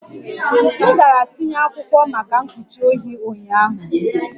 M gara tinye akwụkwọ maka mkpuchi ohi ụnyaahụ